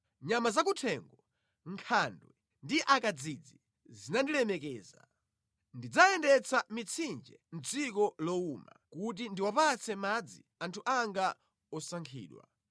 Nyama zakuthengo, nkhandwe ndi akadzidzi zinandilemekeza. Ndidzayendetsa mitsinje mʼdziko lowuma kuti ndiwapatse madzi anthu anga osankhidwa.